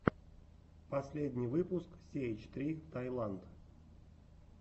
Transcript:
последний выпуск си эйч три таиланд